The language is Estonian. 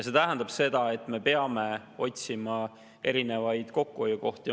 See tähendab seda, et me peame otsima erinevaid kokkuhoiukohti.